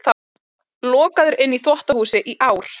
Lokaður inni í þvottahúsi í ár